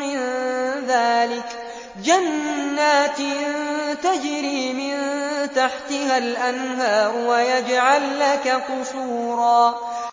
مِّن ذَٰلِكَ جَنَّاتٍ تَجْرِي مِن تَحْتِهَا الْأَنْهَارُ وَيَجْعَل لَّكَ قُصُورًا